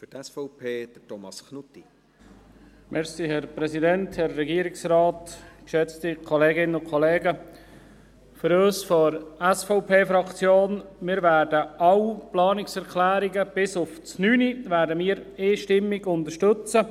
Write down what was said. Für uns von der SVP-Fraktion: Wir werden alle Planungserklärungen bis auf die Planungserklärung 9 einstimmig unterstützen.